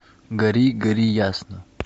гори гори ясно